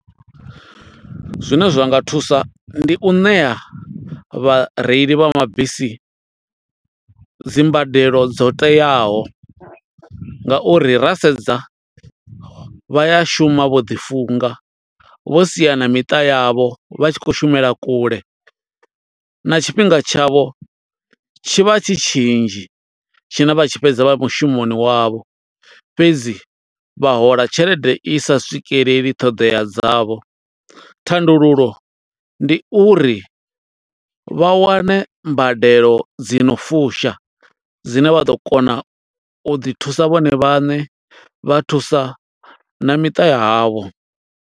Zwine zwa nga thusa, ndi u ṋea vhareili vha mabisi dzi mbadelo dzo teaho, nga uri ra sedza vha ya shuma vho ḓi funga, vho sia na miṱa yavho vha tshi khou shumela kule, na tshifhinga tshavho tshi vha tshi tshinzhi tshine vha tshi fhedza vha mushumoni wavho. Fhedzi vha hola tshelede i sa swikeleli ṱhoḓea dzavho, thandululo ndi uri vha wane mbadelo dzi no fusha, dzine vha ḓo kona u ḓi thusa vhone vhaṋe, vha thusa na miṱa ya havho.